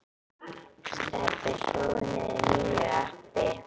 Stebbi hlóð niður nýju appi.